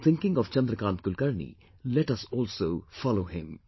While thinking of Chandrkant Kulkarni, let us also follow him